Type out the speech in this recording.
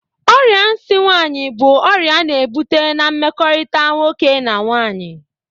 Ọrịa nsi nwaanyị bụ ọrịa a na-ebụta na mmekọrịta nwoke na nwaanyị.